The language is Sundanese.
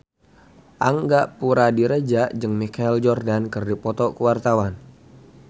Angga Puradiredja jeung Michael Jordan keur dipoto ku wartawan